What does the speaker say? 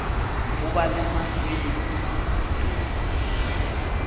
ho ba le mahlwele maotong